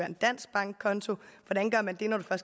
en dansk bankkonto hvordan gør man det når man